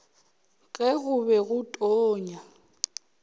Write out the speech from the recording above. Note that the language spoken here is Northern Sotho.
ge go be go tonya